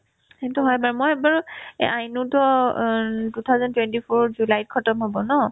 সেইটো হয় বাৰু মই এবাৰ এ আইনোতো অ উম two thousand twenty four ত জুলাইত khatam হ'ব ন